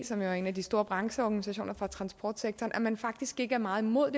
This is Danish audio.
som er en af de store brancheorganisationer for transportsektoren set at man faktisk ikke er meget imod